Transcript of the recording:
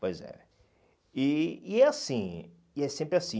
Pois é. E e é assim, e é sempre assim.